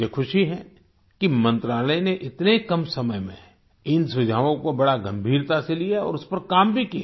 मुझे खुशी है कि मंत्रालय ने इतने कम समय में इन सुझावों को बड़ा गंभीरता से लिया और उस पर काम भी किया